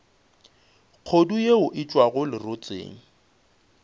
kgodu yeo e tšwago lerotseng